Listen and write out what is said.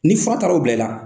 Ni fura taara o bila i la.